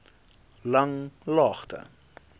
langlaagte